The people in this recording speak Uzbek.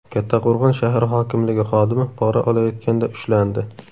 Kattaqo‘rg‘on shahar hokimligi xodimi pora olayotganda ushlandi.